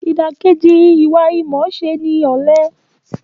Ìdàkejì ìmọ̀ọ́ṣe ni ìwà ọ̀lẹ.